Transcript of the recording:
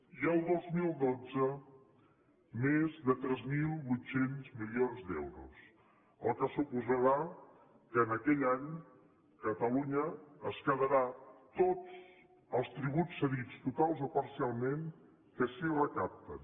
i el dos mil dotze més de tres mil vuit cents milions d’euros el que suposarà que en aquell any catalunya es quedarà tots els tributs cedits totalment o parcialment que s’hi recapten